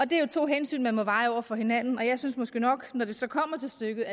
det er jo to hensyn man må veje op over for hinanden jeg synes måske nok at når det så kommer til stykket